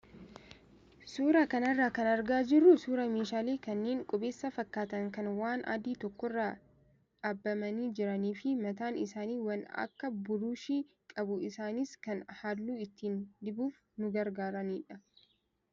Suuraa kanarraa kan argaa jirru suuraa meeshaalee kanneen qubeessaa fakkaatan kan waan adii tokkorra dhabamanii jiranii fi mataan isaanii waan akka buruushii qabu isaanis kan halluu ittiin dibuuf nu gargaaranidha.